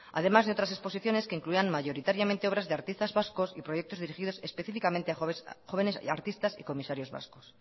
además de otras exposiciones que incluyan mayoritariamente obras de artistas vascos y proyectos dirigidos específicamente a jóvenes artistas y comisarios vascos